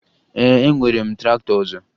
Ee, enwere m traktọ ọzọ